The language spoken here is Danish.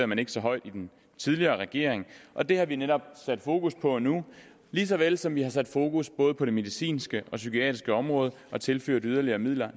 man ikke så højt i den tidligere regering og det har vi netop sat fokus på nu lige så vel som vi har sat fokus både på det medicinske og psykiatriske område og tilført yderligere midler